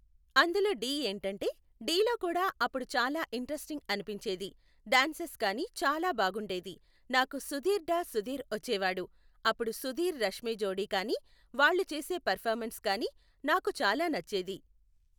అందులో ఢీ ఏంటంటే, ఢీలో కూడా అప్పుడు చాలా ఇంట్రెస్టింగ్ అనిపించేది, డ్యాన్సస్ కానీ చాలా బాగుండేది. నాకు సుధీర్ డా సుధీర్ వచ్చేవాడు, అప్పుడు సుధీర్ రష్మీ జోడి కానీ వాళ్ళు చేసే పెర్ఫార్మెన్స్ కానీ నాకు చాలా నచ్చేది.